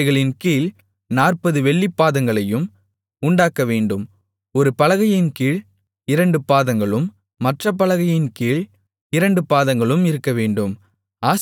அவைகளின் கீழ் நாற்பது வெள்ளிப்பாதங்களையும் உண்டாக்கவேண்டும் ஒரு பலகையின் கீழ் இரண்டு பாதங்களும் மற்றப் பலகையின் கீழ் இரண்டு பாதங்களும் இருக்கவேண்டும்